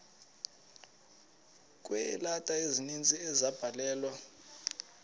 kweeleta ezininzi ezabhalelwa